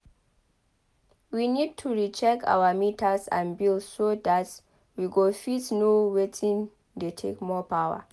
we need to check our meters and bills so dat we go fit know wetin dey take more power